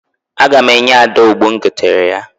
Aga m enye Ada ogbo m goteere ya.